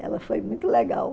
Ela foi muito legal.